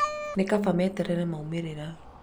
nĩ kaba meterere maumĩrĩra